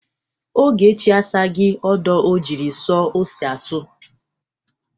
Ogechi asaghi ọdọ o jiri sọ ose asa.